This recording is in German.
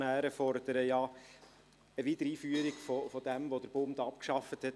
Die Motionäre fordern ja eine Wiedereinführung dessen, was der Bund abgeschafft hat.